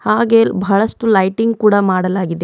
ಹಾಗೆ ಬಹಳಷ್ಟು ಲೈಟಿಂಗ್ ಕೂಡ ಮಾಡಲಾಗಿದೆ.